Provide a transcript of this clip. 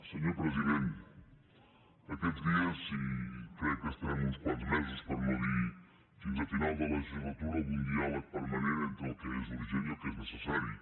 senyor president aquests dies i crec que estarem uns quants mesos per no dir fins a final de legislatura amb un diàleg permanent entre el que és urgent i el que és necessari